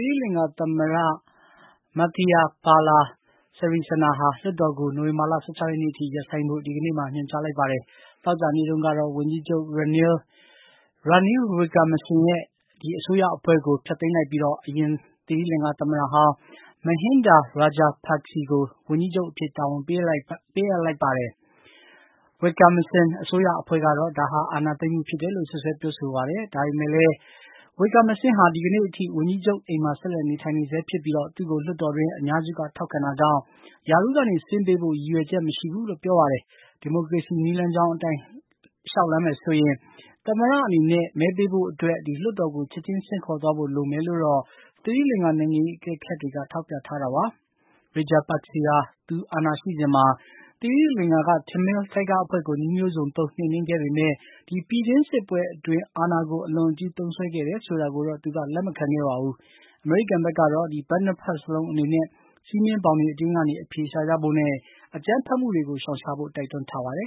ိလင်္ကာသမ္မတ Maithripala Sirisena ဟာ လွှတ်တော်ကို နိုဝင်ဘာလ ၁၆ ရက်နေ့အထိ ရပ်ဆိုင်းဖို့ ညွှန်ကြားခဲ့ပါတယ်။ သောကြာနေ့တုန်းကတော့ ဝန်ကြီးချုပ် ရာနီးလ် ဝစ်ကာမစင်း နဲ့ အစိုးရအဖွဲ့ကို ဖျက်သိမ်းလိုက်ပြီး အရင် သီရိလင်္ကာသမ္မတဟောင်း Mahinda Rajapakse ကို ဝန်ကြီးချုပ်အဖြစ် တာဝန်ပေးအပ်ထားပါတယ်။ Wickremesinghe အစိုးရအဖွဲ့ကတော့ ဒါဟာ အာဏာသိမ်းမှုဖြစ်တယ်လို့ စွပ်စွဲပြောဆိုပါတယ်။ ဒါပေမယ့်လည်း Wickremesinghe ဟာ ဒီကနေ့အထိ ဝန်ကြီးချုပ်အိမ်မှာ ဆက်လက်နေထိုင်နေဆဲဖြစ်ပြီး သူ့ကို လွှတ်တော်တွင်း အများစုကထောက်ခံတာကြောင့် ရာထူးကနေ ဆင်းပေးဖို့ ရည်ရွယ်ချင်မရှိဘူးလို့ ပြောပါတယ်။ ဒီမိုကရေစီ နည်းလမ်းကြောင်းအတိုင်း လျှောက်လှမ်းမယ်ဆိုရင် သမ္မတအနေနဲ့ မဲပေးဖို့အတွက် လွှတ်တော်ကို ချက်ချင်းဆင့်ခေါ်သွားဖို့ သီရိလင်္ကာနိုင်ငံရေးအကဲခတ်တွေက ထောက်ပြပါတယ်။ Rajapakse ဟာ သူအာဏာရှိစဉ်မှာ သီရိလင်္ကာက တမီးလ်ကျားသူပုန် အဖွဲ့ကို နည်းမျိုးစုံသုံး နှိမ်နင်းခဲ့ပေမယ့် ဒီပြည်တွင်းစစ်ပွဲအတွင်း အာဏာကို အလွန်အကျူး သုံးစွဲခဲ့တယ်ဆိုတာကိုတေ့ာ သူက လက်မခံခဲ့ပါဘူး။ အမေရိကန်ကတော့ ဘက်နှစ်ဘက်လုံးအနေနဲ့ စည်းမျဉ်းဘောင်အတွင်းက အဖြေရှာကြဖို့နဲ့ အကြမ်းဖက်မှုတွေရှောင်ရှားဖို့ တိုက်တွန်းထားပါတယ်